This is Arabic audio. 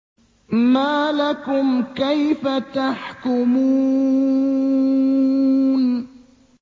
مَا لَكُمْ كَيْفَ تَحْكُمُونَ